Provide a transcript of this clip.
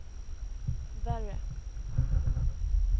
värre